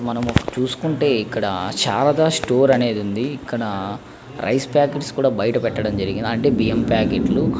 మనం చూసుకుంటే ఇక్కడ చాల స్టోర్ అనేది వుంది ఇక్కడ రైస్ పాకెట్స్ కూడా బయట పెటడం జరిగింది అంటే బియం ప్యాకెట్ లు.